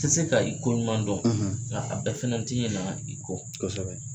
Tɛ se ka i koɲuman dɔn nka a bɛɛ fɛnɛ tɛ ɲina i kɔ kosɛbɛ.